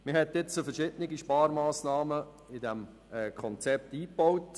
Man hat verschiedene Sparmassnahmen in diesem Konzept eingebaut.